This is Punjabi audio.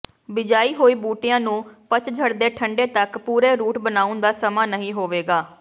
ਬਿਜਾਈ ਹੋਈ ਬੂਟੇਆਂ ਨੂੰ ਪਤਝੜ ਦੇ ਠੰਡੇਂ ਤਕ ਪੂਰੇ ਰੂਟ ਬਣਾਉਣ ਦਾ ਸਮਾਂ ਨਹੀਂ ਹੋਵੇਗਾ